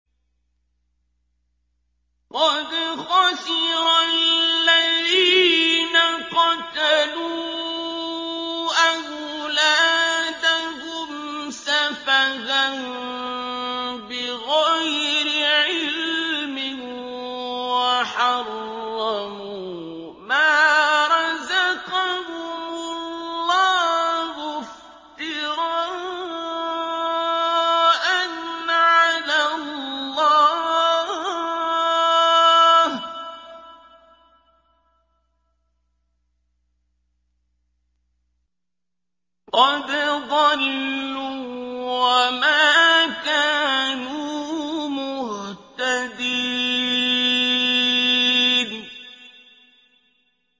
قَدْ خَسِرَ الَّذِينَ قَتَلُوا أَوْلَادَهُمْ سَفَهًا بِغَيْرِ عِلْمٍ وَحَرَّمُوا مَا رَزَقَهُمُ اللَّهُ افْتِرَاءً عَلَى اللَّهِ ۚ قَدْ ضَلُّوا وَمَا كَانُوا مُهْتَدِينَ